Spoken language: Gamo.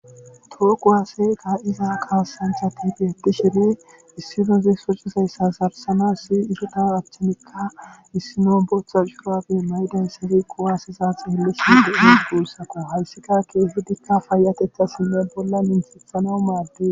too kuwaaseka iza kaasantha tifi hedi shiri issidozi socizayssa sarsana si isota achchanikka issino botha curabe laydayssasi qowase saax helisi de7eis guursako hayssika keehedikka fayatethasinne bolla minthethana maadde